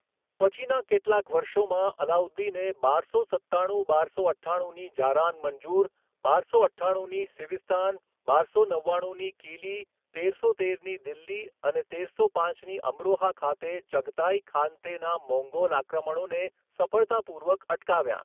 પછીના કેટલાક વર્ષોમાં, અલાઉદ્દીને બારસો સત્તાણું બારસો અઠ્ઠાણુંની જારાન મંજુર, બારસો અઠ્ઠાણુંની સિવિસ્તાન, બારસો નવ્વાણુંની કિલી, તેરસો તેરની દિલ્હી અને તેરસો પાંચની અમરોહા ખાતે ચગતાઈ ખાનતેના મોંગોલ આક્રમણોને સફળતાપૂર્વક અટકાવ્યા.